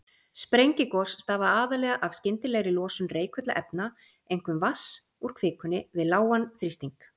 Sprengigos stafa aðallega af skyndilegri losun reikulla efna, einkum vatns, úr kvikunni við lágan þrýsting.